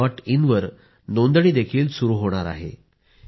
मित्रांनो दर वर्षी मी अशाच विषयांवर विद्यार्थ्यांशी परीक्षेवर चर्चा करतो